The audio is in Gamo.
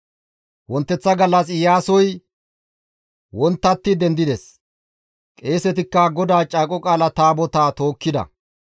Wonteththa gallas Iyaasoy wonttatti dendides; qeesetikka GODAA Caaqo Qaala Taabotaa tookkida.